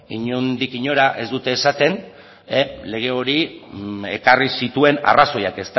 inondik inora ez dute esaten lege hori ekarri zituen arrazoiak